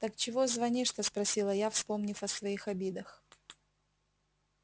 так чего звонишь-то спросила я вспомнив о своих обидах